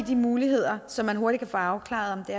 her muligheder så man hurtigt kan få afklaret